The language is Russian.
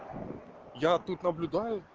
я тут наблюдаю